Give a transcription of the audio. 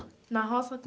Na roça